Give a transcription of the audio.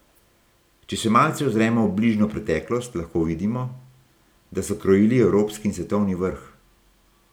Če se malce ozremo v bližnjo preteklost, lahko vidimo, da so krojili evropski in svetovni vrh.